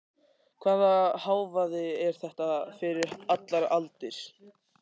Hvaða hávaði er þetta fyrir allar aldir?